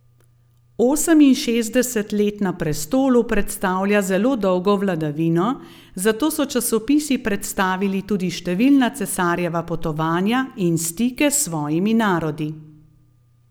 Oseminšestdeset let na prestolu predstavlja zelo dolgo vladavino, zato so časopisi predstavili tudi številna cesarjeva potovanja in stike s svojimi narodi.